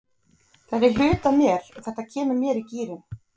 Þetta er hluti af mér og þetta kemur mér í gírinn.